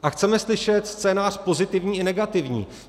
A chceme slyšet scénář pozitivní i negativní.